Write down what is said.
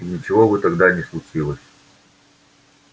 и ничего бы тогда не случилось